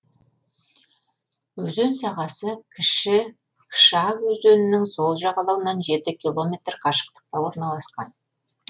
өзен сағасы кіші кша өзенінің сол жағалауынан жеті километр қашықтықта орналасқан